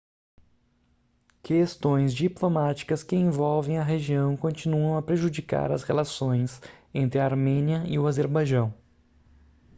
questões diplomáticas que envolvem a região continuam a prejudicar as relações entre a armênia e o azerbaijão